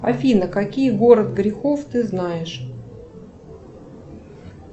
афина какие город грехов ты знаешь